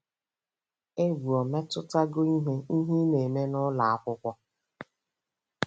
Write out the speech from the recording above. Egwu o metụtago ihe ị ihe ị na-eme n'ụlọ akwụkwọ.